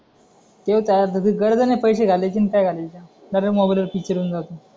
theatre मध्ये गरज नाही पैसे घालण्याचे डायरेक्ट मोबाईल पिक्चर येऊन जातो